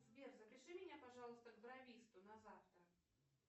сбер запиши меня пожалуйста к бровисту на завтра